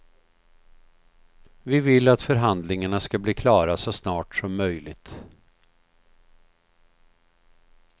Vi vill att förhandlingarna ska bli klara så snart som möjligt.